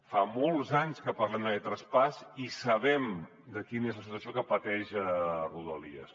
fa molts anys que parlem d’aquest traspàs i sabem quina és la situació que pateix rodalies